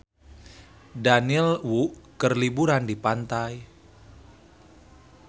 Daniel Wu keur liburan di pantai